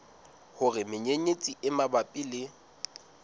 hore menyenyetsi e mabapi le